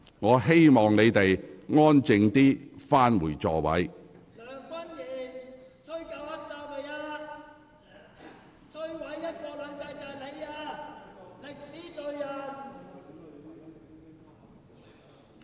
我請你們安靜返回座位。